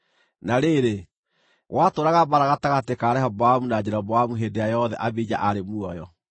Na rĩrĩ, gwatũũraga mbaara gatagatĩ ka Rehoboamu na Jeroboamu hĩndĩ ĩrĩa yothe Abija aarĩ muoyo.